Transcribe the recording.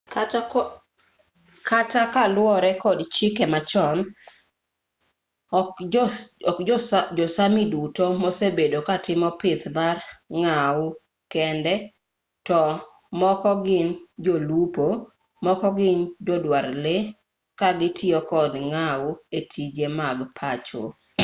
kata kaluwore kod chike machon ok jo-sámi duto mosebedo katimo pith mar ngau kende to moko gin jolupo moko gin joduar lee ka gitiyo kod ngau e tije mag pacho